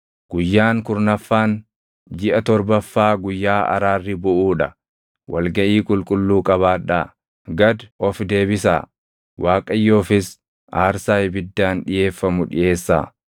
“Guyyaan kurnaffaan jiʼa torbaffaa guyyaa araarri buʼuu dha. Wal gaʼii qulqulluu qabaadhaa; gad ofi deebisaa; Waaqayyoofis aarsaa ibiddaan dhiʼeeffamu dhiʼeessaa.